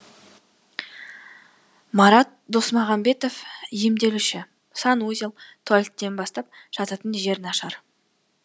марат досмағамбетов емделуші санузел туалеттен бастап жататын жер нашар